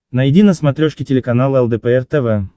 найди на смотрешке телеканал лдпр тв